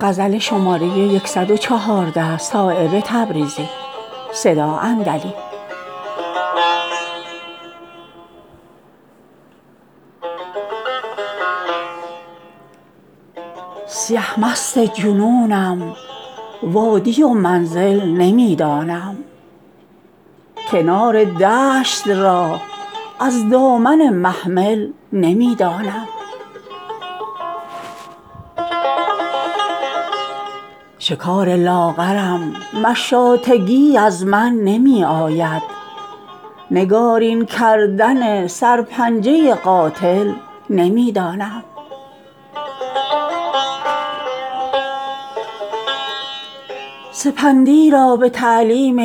سیه مست جنونم وادی و منزل نمی دانم کنار دشت را از دامن محمل نمی دانم خدنگ دور گردم با هدف خون در میان دارم بلایی بدتر از نزدیکی منزل نمی دانم چه افتاده است مهر از غنچه منقار بر دارم به خود یک غنچه را در بوستان یکدل نمی دانم من آن سیل سبکسیرم که از هر جا که برخیزم بغیر از بحر بی پایان دگر منزل نمی دانم نظر بر حال من دارند هر کس را که می بینم کسی را چون خود از احوال خود غافل نمی دانم خضر گوبهر خود اندیشه همراه دیگر کن که من استادگی چون عمر مستعجل نمی دانم شکار لاغرم مشاطگی از من نمی آید نگارین کردن سر پنجه قاتل نمی دانم تو کز وحدت نداری بهره جست و جوی لیلی کن که من دامان دشت از دامن محمل نمی دانم بغیر از عقده دل کز گشادش عاجزم عاجز دگر هر عقده کآید پیش من مشکل نمی دانم سپندی را به تعلیم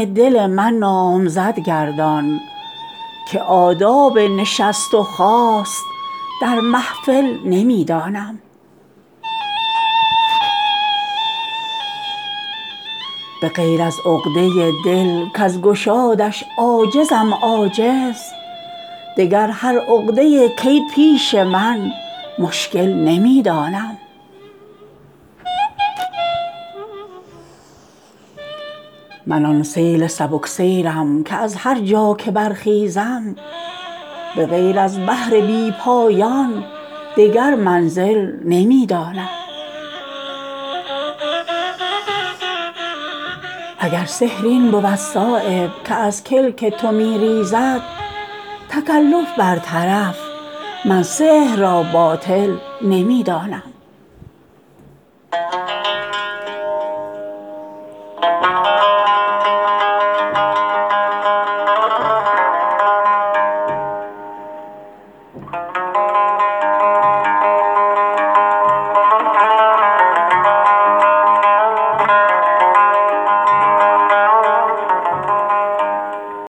دل من نامزد گردان که آداب نشست و خاست در محفل نمی دانم اگر سحر این بود صایب که از کلک تو می ریزد تکلف بر طرف من سحر را باطل نمی دانم